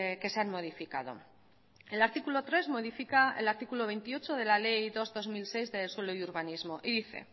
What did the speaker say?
que se han modificado el artículo tres modifica el artículo veintiocho de la ley dos barra dos mil seis de suelo y urbanismo y dice